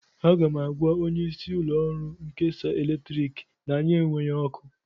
Aga m agwa onyeisi ụlọọrụ nkesa eletrik na anyị enweghị ọkụ